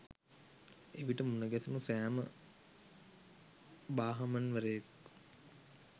එවිට මුණ ගැසුණු සැම භාහමන් වරයෙක්